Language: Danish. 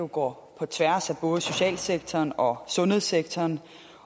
går på tværs af både socialsektoren og sundhedssektoren